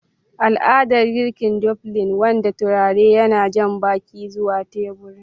Al'adar girki dumplings, wanda turare yana jan baki zuwa teburin.